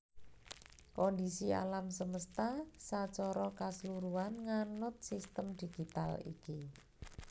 Kondhisi alam semesta sacara kasluruhan nganut sistem digital iki